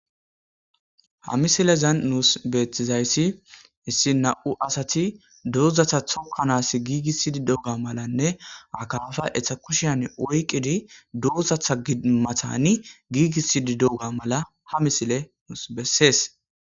Ha misilezan nus betizayssi issi nam'u asati dozata tokanaw gigisidi dewga malanne akaffa eta kushiyan oyqidi dozata matani gigisidi dewga mala hamisiley besses.